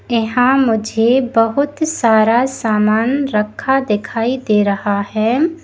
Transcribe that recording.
यहां मुझे बहोत सारा सामान रखा दिखाई दे रहा है।